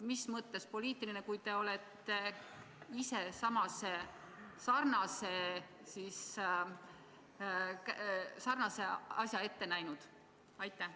Mis mõttes poliitiline, kui te olete ise samasuguse asja ette näinud?